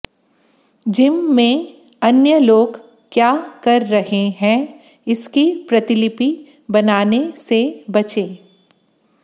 gym में अन्य लोग क्या कर रहे हैं इसकी प्रतिलिपि बनाने से बचें